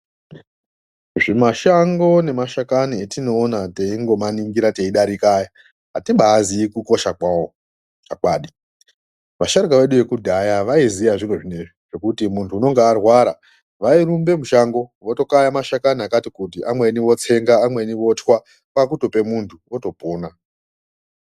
Zvi mashango ne mashakani atinoona teingo maningira teidarika aya atibai ziyi kukosha kwawo chokwadi asharuka vekudhaya vaiziye zviro zvinezvi zvekuti muntu unonga arwara vayirumbe mushango voto kaya mashakani akati kuti amweni otsenga amweni wotwa kwakutope muntu oto pona.